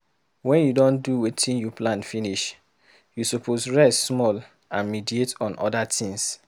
Wen you don do wetin you plan finish, you suppose rest small and meditate on oda things.